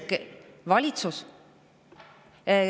Valitsus.